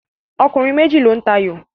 Ọkùnrin méjì ló ń ta ayò